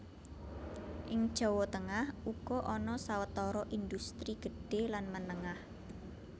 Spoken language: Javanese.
Ing Jawa Tengah uga ana sawetara indhustri gedhé lan menengah